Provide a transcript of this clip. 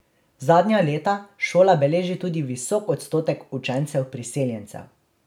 Zadnja leta šola beleži tudi visok odstotek učencev priseljencev.